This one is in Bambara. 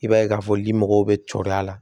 I b'a ye k'a fɔ limɔgɔw bɛ cɔrɔ a la